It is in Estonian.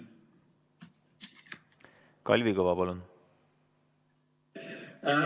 Kalvi Kõva, palun!